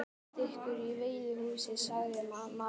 Ég get fylgt ykkur í veiðihúsið, sagði maðurinn.